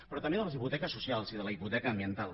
però també de les hipoteques socials i de la hipoteca ambiental